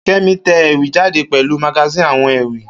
Kemi te ewì jáde pèlu magazine àwon ewì